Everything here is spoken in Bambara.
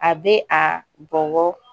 A bɛ a bɔnbɔ